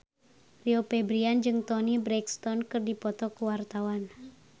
Rio Febrian jeung Toni Brexton keur dipoto ku wartawan